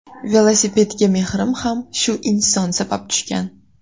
Velosipedga mehrim ham shu inson sabab tushgan.